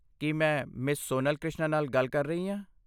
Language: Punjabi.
ਕੀ ਮੈਂ ਮਿਸ ਸੋਨਲ ਕ੍ਰਿਸ਼ਨਾ ਨਾਲ ਗੱਲ ਕਰ ਰਹੀ ਹਾਂ?